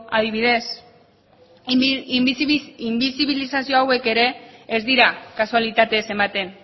adibidez inbisibilizazio hauek ere ez dira kasualitatez ematen